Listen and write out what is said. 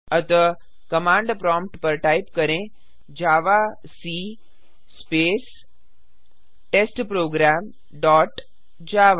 अतः command prompt पर type करें जावाक स्पेस टेस्टप्रोग्राम डॉट जावा